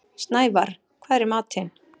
Snævarr, hvað er í matinn?